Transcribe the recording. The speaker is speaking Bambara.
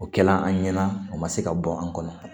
O kɛla an ɲɛna o ma se ka bɔ an kɔnɔ